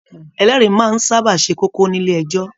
Ẹlẹri máa n sábà se kókó nílé ẹjọ.